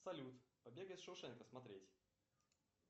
салют побег из шоушенка смотреть